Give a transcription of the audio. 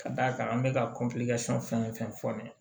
Ka d'a kan an bɛka fɛn o fɛn fɔ nin ye